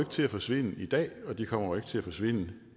til at forsvinde i dag og de kommer ikke til at forsvinde